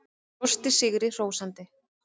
Brosti sigri hrósandi.